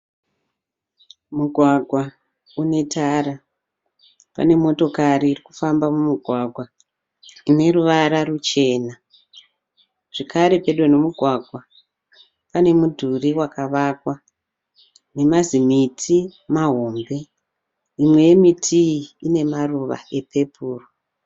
Mugwagwa unetara, panemotokari irikufamba mumugwagwa ineruvara rwuchena. Zvekare pedo nemugwagwa pane mudhuri wakavakwa, nemazimiti mahombe . Mimwe yemiti iyi inemaruva epepuri.